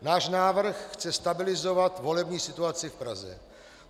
Náš návrh chce stabilizovat volební situaci v Praze.